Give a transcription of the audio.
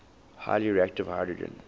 highly reactive hydrogen